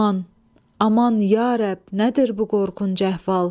Aman, aman ya Rəbb, nədir bu qorxunc əhval?